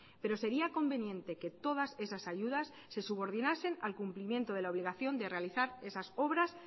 pero sería conveniente que todas esas ayudas se subordinases al cumplimiento de la obligación de realizar esas obras